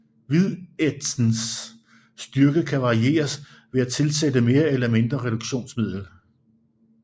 Hvidætsens styrke kan varieres ved at tilsætte mere eller mindre reduktionsmiddel